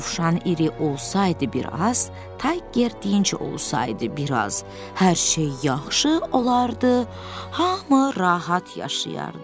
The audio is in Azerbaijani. Dovşan iri olsaydı bir az, Tayger deyincə olsaydı bir az, hər şey yaxşı olardı, hamı rahat yaşayardı.